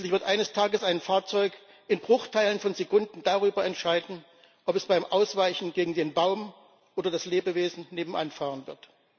Schließlich wird eines Tages ein Fahrzeug in Bruchteilen von Sekunden darüber entscheiden, ob es beim Ausweichen gegen den Baum oder das Lebewesen nebenan fahren wird.